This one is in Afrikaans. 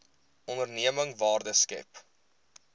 onderneming waarde skep